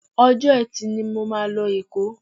Ọjọ́ Ẹtì ni mo máa lọ Èkó